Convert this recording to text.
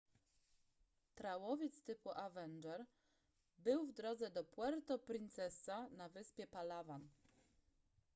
trałowiec typu avenger był w drodze do puerto princesa na wyspie palawan